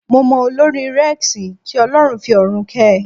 Mo mọ olórin Rex, kí Ọlọ́run fi ọ̀run kẹ́ẹ.